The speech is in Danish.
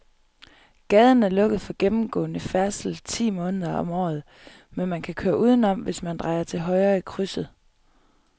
Gaden er lukket for gennemgående færdsel ti måneder om året, men man kan køre udenom, hvis man drejer til højre i krydset.